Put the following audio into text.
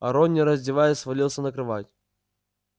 рон не раздеваясь свалился на кровать